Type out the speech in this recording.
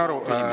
Aitäh!